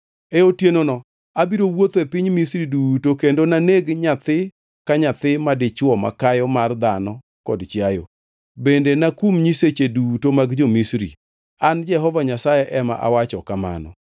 “E otienono abiro wuotho e piny Misri duto kendo naneg nyathi ka nyathi madichwo makayo mar dhano kod chiayo, bende nakum nyiseche duto mag jo-Misri, an Jehova Nyasaye ema awacho kamano.